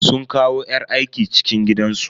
Sun kawo yar aiki cikin gidansu.